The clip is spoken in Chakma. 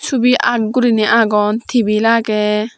ebay art gurinay aagon tebil aagay.